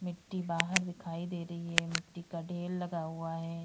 मिट्टी बाहर दिखाई दे रही है मिट्टी का ढ़ेर लगा हुआ है।